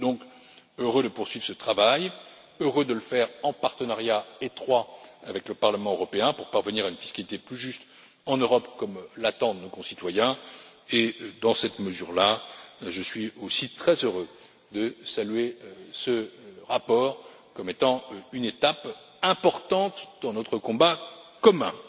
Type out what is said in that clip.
Je suis donc heureux de poursuivre ce travail, heureux de le faire en partenariat étroit avec le Parlement européen pour parvenir à une fiscalité plus juste en Europe comme l'attendent nos concitoyens et, dans cette mesure là, je suis aussi très heureux de saluer ce rapport comme étant une étape importante dans notre combat commun.